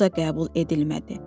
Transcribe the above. Bu da qəbul edilmədi.